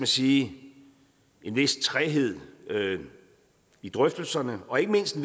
sige en vis træghed i drøftelserne og ikke mindst